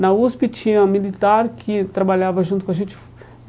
Na USP tinha um militar que trabalhava junto com a gente.